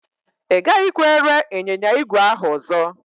Ị gaghịkwa ere ịnyịnya ígwè ahụ ọzọ.